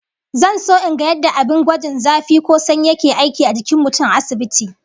Zan so in ga yadda abin gwajin zafi ko sanyi yake aiki a jikin mutum a asibiti